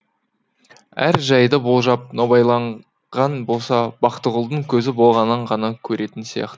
әр жайды болжап нобайлаған болса бақтығұлдың көзі болғаннан ғана көретін сияқты